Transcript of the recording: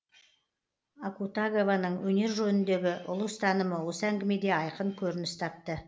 акутагаваның өнер жөніндегі ұлы ұстанымы осы әңгімеде айқын көрініс тапты